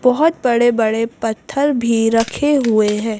बहुत बड़े-बड़े पत्थर भी रखे हुए हैं।